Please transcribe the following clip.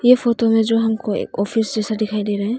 इस फोटो में जो हमको ऑफिस जैसा दिखाई दे रहा है।